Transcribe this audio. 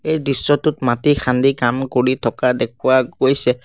এই দৃশ্যটোত মাটি খান্দি কাম কৰি থকা দেখুওৱা গৈছে।